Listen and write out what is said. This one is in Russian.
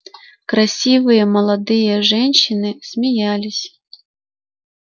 красивые молодые женщины смеялись